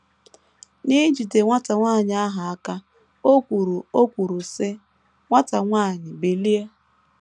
N’ijide nwata nwanyị ahụ aka, o kwuru o kwuru, sị: “ Nwata nwanyị, bilie. ”